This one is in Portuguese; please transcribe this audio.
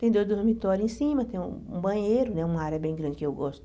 Tem dois dormitórios em cima, tem um um banheiro, né uma área bem grande que eu gosto.